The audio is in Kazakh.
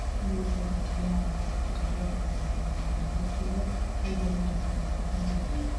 кәмелет жасына толмаған жасөспірімдер жасайтын қылмыстардың көпшілігі пайдакүнемдік мақсатын көздейді